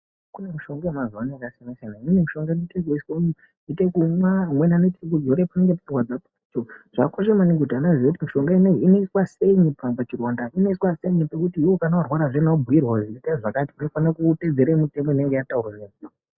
Kune mishonga yamazuva ano yakasiyana-siyana, imweni mishonga vanoite kuimwa, amweni vanoite kuzore, zvakakosha maningi kuti vantu vazive kuti mishonga ino iyi inoswa sei kana pachironda, inoiswa sei pekuti kana warwara zviyazvi orwirwa, unoita zvakati, unofanira kuteedzera mitemo inenge yataurwa.